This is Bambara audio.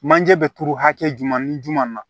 Manje bɛ turu hakɛ jumɛn ni jumɛn na